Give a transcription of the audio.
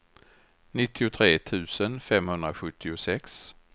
nittiotre tusen femhundrasjuttiosex